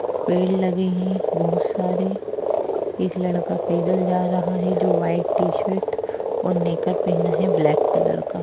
पेड़ लगे है बहुत सारे एक लड़का पैदल जा रहा है जो वाइट टीशर्ट और नेकर पहना है ब्लैक कलर का--